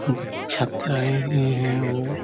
--ब छत रहे है हो--